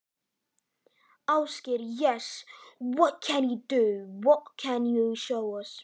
Ásgeir: Já, og hvað geturðu, hvað geturðu sýnt okkur?